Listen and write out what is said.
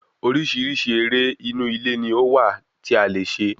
Orísirísi eré inú ilé ní ó wà tí a lè ṣe